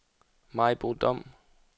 Maribo Dom